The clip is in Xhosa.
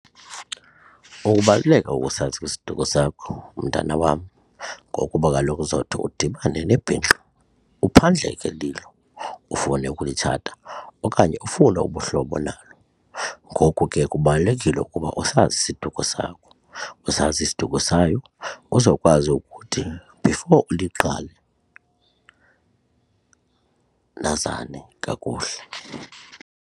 Ukubaluleka kosazi isiduko sakho, mntana wam, ngokuba kaloku zodwa udibane nebhinqa uphandleke lilo ufune ukulitshata okanye ufune ubuhlobo nalo. Ngoku ke kubalulekile ukuba usazi isiduko sakho, usazi isiduko sayo uzokwazi ukuthi before uliqale nazane kakuhle.